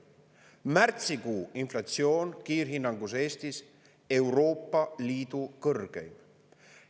Märtsikuu inflatsioon Eestis kiirhinnangu järgi: Euroopa Liidu kõrgeim.